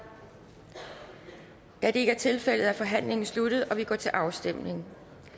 da det ikke er tilfældet er forhandlingen sluttet og vi går til afstemning